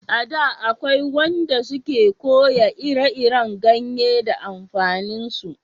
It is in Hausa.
A da akwai wanda su ke koya ire iren ganye da amfanin su